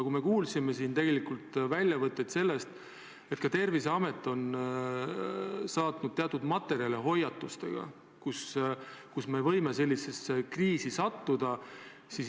Aga me kuulsime siin tegelikult seda, et Terviseamet on välja saatnud teatud materjale hoiatustega, et me võime sellisesse kriisi sattuda.